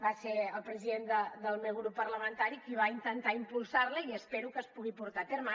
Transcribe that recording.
va ser el president del meu grup parlamentari qui va intentar impulsar la i espero que es pugui portar a terme